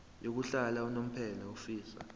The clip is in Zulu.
yokuhlala unomphela ofisa